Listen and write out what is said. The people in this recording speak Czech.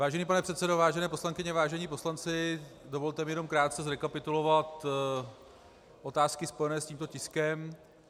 Vážený pane předsedo, vážené poslankyně, vážení poslanci, dovolte mi jenom krátce zrekapitulovat otázky spojené s tímto tiskem.